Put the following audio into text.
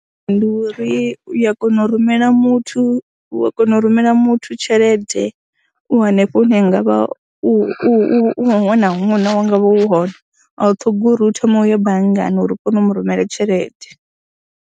Ndi uri u ya kona u rumela muthu, u a kona u rumela muthu tshelede u hanefho hune ha nga vha u u u huṅwe na huṅwe hone, a u ṱhogi u thome u ye banngani uri u kone u mu rumela tshelede.